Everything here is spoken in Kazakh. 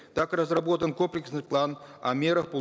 так разработан комплексный план о мерах по